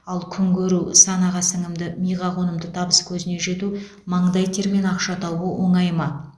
ал күнкөру санаға сіңімді миға қонымды табыскөзіне жету маңдай термен ақша табу оңай ма